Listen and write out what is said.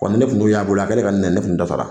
Wa ni ne tun y'a bolo a